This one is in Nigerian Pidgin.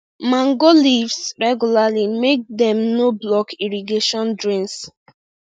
mango leaves regularly make dem no block irrigation drains